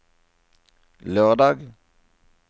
lørdag